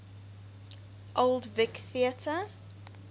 old vic theatre